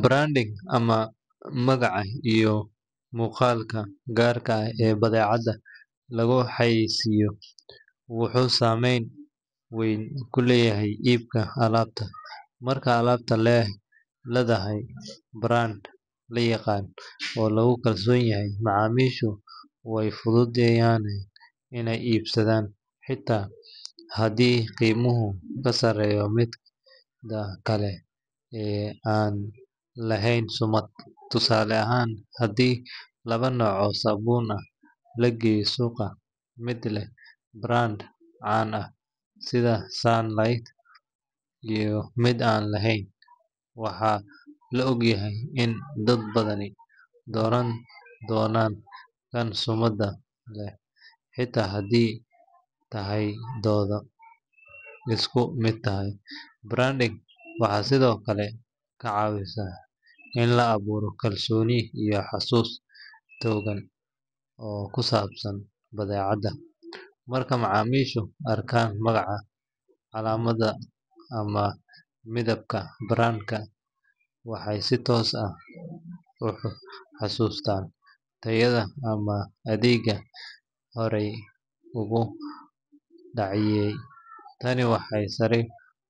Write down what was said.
Branding, ama magaca iyo muuqaalka gaar ah ee badeecad lagu xayeysiiyo, wuxuu saameyn weyn ku leeyahay iibka alaabta. Marka alaab leedahay brand la yaqaan oo lagu kalsoon yahay, macaamiishu way fududaanayaan inay iibsadaan, xitaa haddii qiimuhu ka sarreeyo midda kale ee aan lahayn sumad. Tusaale ahaan, haddii laba nooc oo sabuun ah la geeyo suuqa, mid leh brand caan ah sida Sunlight iyo mid aan la aqoon, waxaa la og yahay in dad badani dooran doonaan kan sumadda leh xitaa haddii tayadoodu isku mid tahay. Branding waxay sidoo kale kaa caawisaa in la abuuro kalsooni iyo xasuus togan oo ku saabsan badeecadda. Marka macaamiishu arkaan magaca, calaamadda ama midabka brand-ka, waxay si toos ah u xasuustaan tayada ama adeegga horey ugu qanciyay. Tani waxay sare